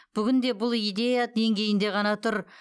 бүгінде бұл идея деңгейінде ғана тұр